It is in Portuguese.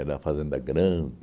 uma fazenda grande.